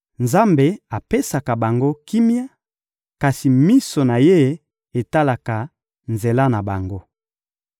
Nzambe apesaka bango kimia, kasi miso na Ye etalaka nzela na bango.